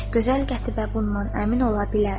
Gözəl Qətibə bundan əmin ola bilər.